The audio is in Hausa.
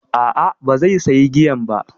A'a, ba zai sayi giyan ba.